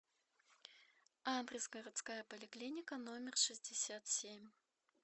адрес городская поликлиника номер шестьдесят семь